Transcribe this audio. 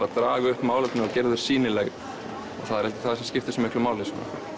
að draga upp málefni og gera þau sýnileg það er einmitt það sem skiptir svo miklu máli